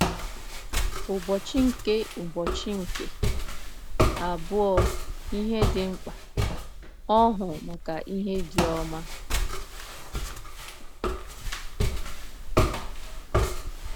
Ụbọchị nke Ụbọchị nke Abụọ – Ihe Dị Mkpa: Ọhụụ Maka Ihe Dị Ọma